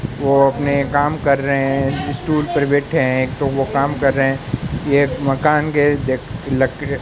वो अपने काम कर रहे हैं। स्टूल पर बैठे हैं। तो वो काम कर रहे हैं। ये एक मकान के--